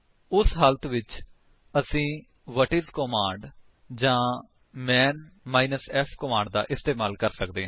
ਉਸ ਹਾਲਾਤ ਵਿੱਚ ਅਸੀ ਵ੍ਹਾਟਿਸ ਕਮਾਂਡ ਜਾਂ ਮਾਨ -f ਕਮਾਂਡ ਦਾ ਇਸਤੇਮਾਲ ਕਰ ਸਕਦੇ ਹਾਂ